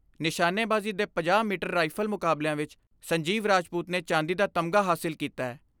ਨਿਸ਼ਾਨੇਬਾਜ਼ੀ ਦੇ ਪੰਜਾਹ ਮੀਟਰ ਰਾਈਫਲ ਮੁਕਾਬਲਿਆਂ ਵਿਚ ਸੰਜੀਵ ਰਾਜਪੂਤ ਨੇ ਚਾਂਦੀ ਦਾ ਤਮਗਾ ਹਾਸਲ ਕੀਤੈ।